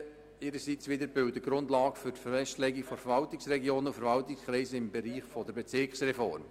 Diese bilden ihrerseits die Grundlage für die Festlegung der Verwaltungsregionen und Verwaltungskreise im Bereich der Bezirksreform.